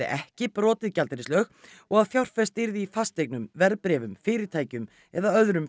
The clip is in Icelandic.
ekki brotið gjaldeyrislög og að fjárfest yrði í fasteignum verðbréfum fyrirtækjum eða öðrum